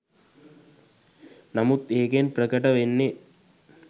නමුත් ඒකෙන් ප්‍රකට වෙන්නෙ